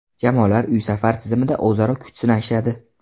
Jamoalar uy-safar tizimida o‘zaro kuch sinashadi.